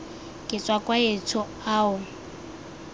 ke tswa kwa etsho ao